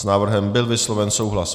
S návrhem byl vysloven souhlas.